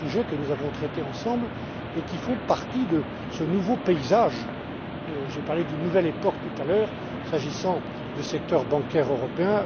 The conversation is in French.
tous ces sujets que nous avons traités ensemble et qui font partie de ce nouveau paysage j'ai parlé d'une nouvelle époque, tout à l'heure, s'agissant du secteur bancaire européen.